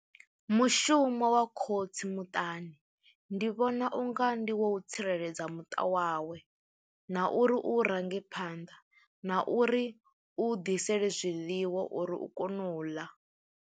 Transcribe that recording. Mushumo wa khotsi muṱani ndi vhona unga ndi wa u tsireledza muṱa wawe, na uri u range phanḓa, na uri u ḓisela zwiḽiwa uri u kone u ḽa.